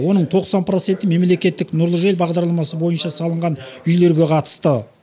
оның тоқсан проценті мемлекеттік нұрлы жер бағдарламасы бойынша салынған үйлерге қатысты